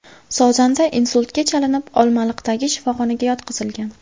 Sozanda insultga chalinib, Olmaliqdagi shifoxonaga yotqizilgan.